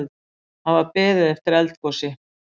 Hafa beðið eftir eldgosi